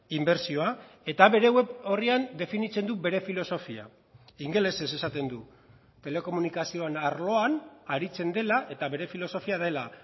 inbertsioa eta bere web orrian definitzen du bere filosofia ingelesez esaten du telekomunikazioen arloan aritzen dela eta bere filosofia dela